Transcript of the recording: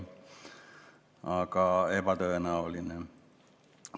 Aga ebatõenäoline on!